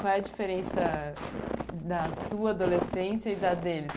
Qual é a diferença da sua adolescência e da deles?